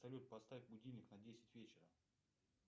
салют поставь будильник на десять вечера